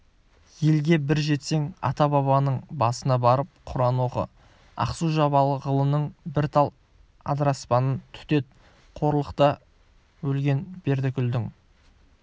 елге бір жетсең ата-бабаның басына барып құран оқы ақсу-жабағылының бір тал адыраспанын түтет қорлықта өлген бердіқұлдың